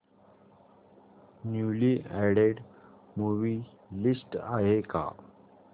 newly added movie list आहे का